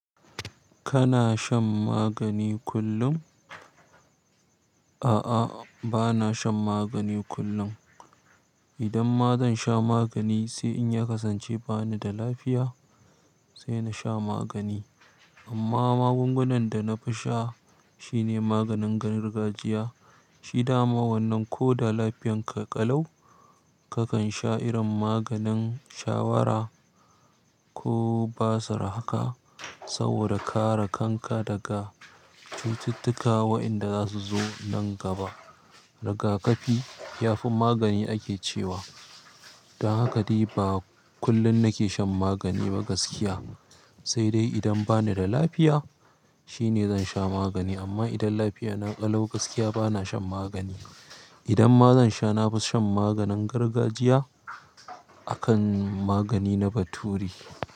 Kana shan magani kullum? A'a, bana shan magani kullum. Idan ma zan sha magani sai in ya kasance bani da lafiya, sai na sha magani. Amma magungunan da nafi sha sune maganin gargajiya. Shi dama wannan ko da lafiyanka ƙalau, kakan sha irin maganin shawara ko basir haka saboda kare kanka daga cututtuka waɗanda zasu zo nan gaba. Rigakafi ya fi magani ake cewa. Don haka dai ba kullum nake shan magani ba gaskiya. Sai dai idan bani da lafiya shine zan sha magani. Amma idan lafiya na ƙalau gaskiya bana shan magani. Idan ma zan sha, na fi shan maganin gargajiya akan magani na bature.